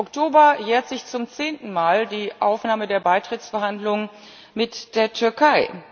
Im Oktober jährt sich zum zehnten Mal die Aufnahme der Beitrittsverhandlungen mit der Türkei.